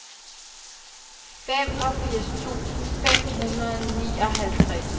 femogfirs tusind fem hundrede og nioghalvtreds